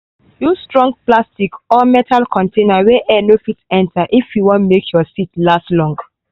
use strong plastic or metal container wey air no fit enter if you wan make your seeds last long.